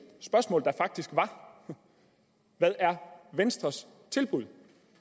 spørgsmål der faktisk var hvad er venstres tilbud